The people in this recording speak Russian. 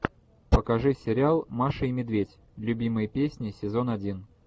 покажи сериал маша и медведь любимые песни сезон один